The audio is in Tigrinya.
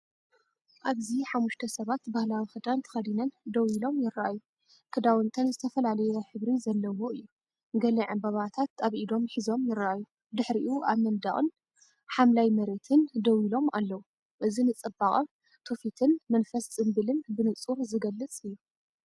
ኣብዚ ሓሙሽተ ሰባት ባህላዊ ክዳን ተኸዲነን ደው ኢሎን ይረኣዩ። ክዳውንተን ዝተፈላለየ ሕብሪ ዘለዎ እዩ፤ ገለ ዕምባባታት ኣብ ኢዶም ሒዞም ይረኣዩ። ድሕሪኡ ኣብ መንደቕን ሓምላይ መሬትን ደው ኢሎም ኣለዉ። እዚ ንጽባቐ ትውፊትን መንፈስ ጽምብልን ብንጹር ዝገልጽ እዩ።